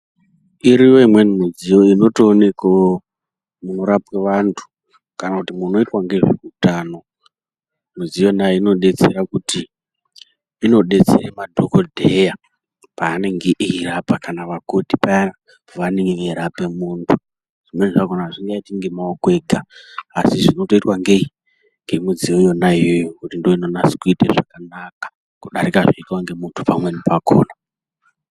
Iriyo imweni mudziyo inotoonekewo munorapwe vantu, kana kuti munoitwa ngezveutano. Mudziyo yonayo inodetsera kuti inodetsere madhokodheya paanenge eirapa, kana vakoti paya pevanenge veirape muntu. Zvimweni zvakhona azvingaiti ngemaoko ega, asi zvinotoitwa ngei? Ngemudziyo yona iyoyo ngekuti ndooinonase kuite zvakanaka, kudarika zvinoitwa ngemuntu pamweni pakhona.